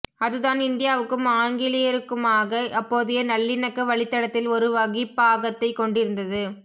அது தான் இந்தியாவுக்கும் ஆங்கிலேயருக்குமாக அப்போதையநல்லிணக்க வழித்தடத்தில் ஒரு வகிபாகத்தை கொண்டிருந்தது